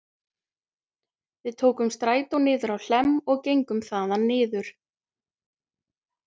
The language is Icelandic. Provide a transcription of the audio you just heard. Við tókum strætó niður á Hlemm og gengum þaðan niður